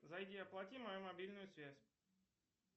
зайди оплати мою мобильную связь